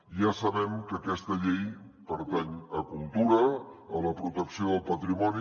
ja sabem que aquesta llei pertany a cultura a la protecció del patrimoni